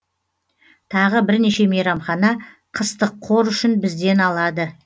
тағы бірнеше мейрамхана қыстық қор үшін бізден алады